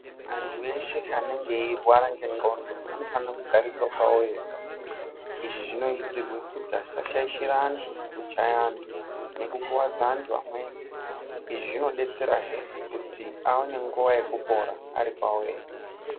Antu eshe anenge eirwara ngengqondo anofanira kugariswa pavo vega. Izvi zvinozirwe kuzi asashaishire antu, kuchaya antu nekukuvadza antu amweni. Izvi zvinodetserazve kuti aone nguva yekupara ari pavo vega.